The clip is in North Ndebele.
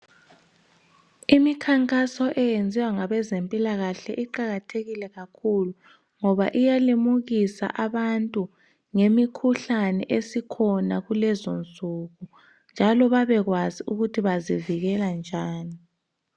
Imikhankaso eyenziwa ngabezempilakahle iqakathekile kakhulu ngoba iyalimukisa abantu ngemikhuhlane esikhona kulezonsuku njalo babe kwazi ukuthi bazivikela njani.